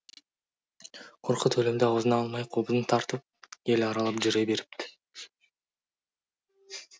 қорқыт өлімді аузына алмай қобызын тартып ел аралап жүре беріпті